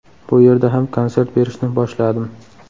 Bu yerda ham konsert berishni boshladim.